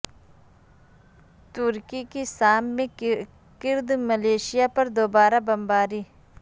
ترکی کی شام میں کرد ملیشیا پر دوبارہ بمباری